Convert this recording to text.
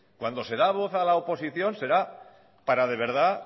cuando se da voz a la oposición será para de verdad